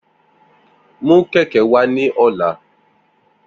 Mu keke wa ni ọla!